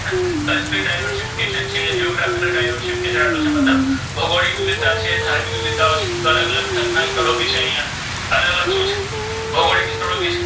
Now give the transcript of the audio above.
છે મત્લબ ભૌગોલિક વિવિધ્તા છે ધાર્મિક વિવિધ્તાઓ છે તો અલગ અલગ જાત ના સ્થળો ભી છે અહિયા અલગ અલગ શુ છે ભૌગોલિક વિસ્તારો ભી છે.